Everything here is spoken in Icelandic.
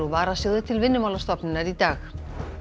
úr varasjóði til Vinnumálastofnunar í dag